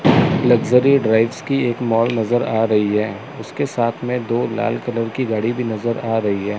Luxury drives की एक mall नजर आ रही है। उसके साथ में दो लाल कलर की गाड़ी भी नजर आ रही है।